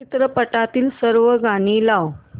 चित्रपटातील सर्व गाणी लाव